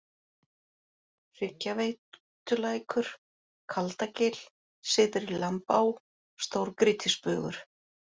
Hryggjaveitulækur, Kaldagil, Syðri-Lambá, Stórgrýtisbugur